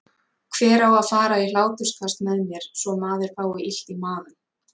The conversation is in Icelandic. Hver á að fara í hláturskast með mér svo maður fái illt í magann?